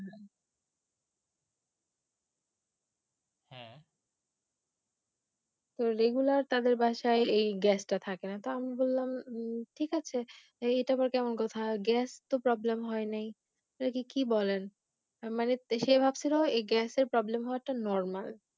Regular তাদের বাসায় এই Gas টা থাকে না তা আমি বলালম ঠিক আছে এইটা আবার কেমন কথা Gas তো Problem হয় নি ।এটা কি বলেন মানে সে ভাবছিলো এই Gas এর Problem হওয়াটা Normal